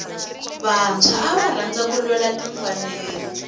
vantshwa ava rhandza ku lwela timfanelo